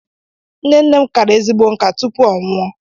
Nne nne m kara ezigbo nká tupu ọ nwụọ.